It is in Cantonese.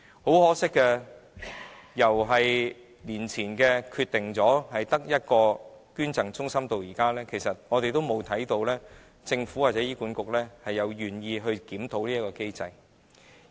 很可惜，由多年前決定只保存一個捐贈中心至今，我們從沒有看到政府或醫管局願意檢討這項機制。